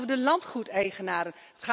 Het gaat over de landgoedeigenaren.